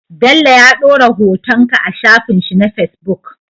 Bello ya dora hoton ka a shafin shi na facebook